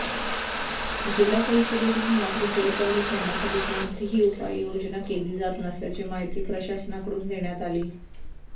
जिल्हा परिषदेकडून मात्र जलपर्णी काढण्यासाठी कोणतीही उपाययोजना केली जात नसल्याची माहिती प्रशासनाकडून देण्यात आली